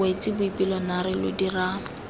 wetse boipelo naare lo dira